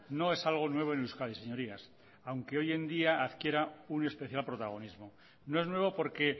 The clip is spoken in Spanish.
no es algo nuevo en euskadi señorías aunque hoy en día adquiera un especial protagonismo no es nuevo porque